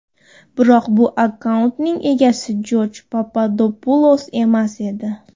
Biroq bu akkauntning egasi Jorj Papadopulos emas edi.